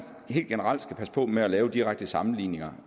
helt generelt skal passe på med at lave direkte sammenligninger